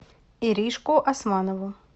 иришку османову